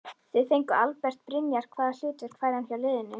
Þið fenguð Albert Brynjar hvaða hlutverk fær hann hjá liðinu?